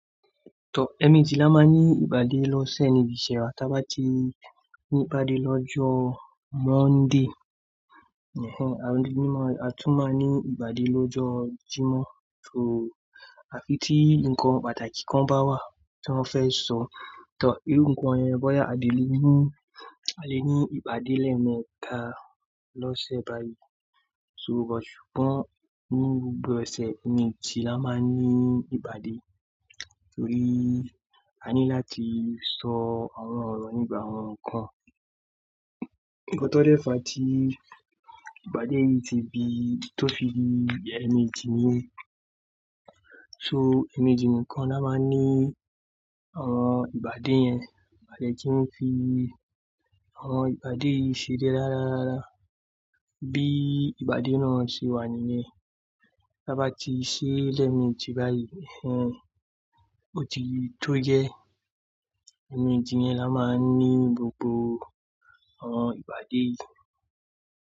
Tọ, ẹ̀ẹ̀meji máa ní ìpàdé lọ́sẹ̀ níbi iṣẹ́ wa. Tábá ti ní ìpàdé lọ́jọ́ Monday. Àrún-dín-ní-marun. A tún máa ní ìpàdé lọ́jọ́ Jímọ̀. So, à fi tí nǹkan pàtàkì kan bá wà tí wọ́n fẹ́ sọ. Tọ, irú ǹkan yẹn, bóyá a lè ní, ìpàdé lẹ́ẹ̀mẹta lọ́sẹ̀ báyìí. So, ṣùgbọ́n nínú gbogbo ọ̀sẹ̀, ẹ̀ẹ̀mejì la máa ní ìpàdé. Torí a ní láti sọ àwọn ọ̀rọ̀ nígbà awọ̀n nkan. Nígbà tó dẹ́ fa tí ìpàdé yìí ti bí, tó fi ẹ̀ẹ̀mejì ní. So ẹ̀ẹ̀mejì nìkan la máa ní àwọn ìpàdé yẹn. A de kí má fi àwọn ìpàdé yìí ṣeré rára rára rára. Bí ìpàdé náà ṣe wà nìyẹn. Tábá ti ṣe lẹ́ẹ̀mejì báyìí. Ẹ̀hẹn, ó ti tó gẹ. Ẹ̀ẹ̀mejì yẹn la máa ní gbogbo àwọn ìpàdé yìí.